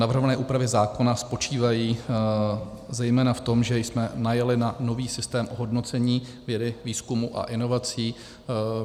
Navrhované úpravy zákona spočívají zejména v tom, že jsme najeli na nový systém ohodnocení vědy, výzkumu a inovací.